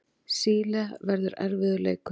Síle verður erfiður leikur.